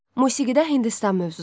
Musiqidə Hindistan mövzusu.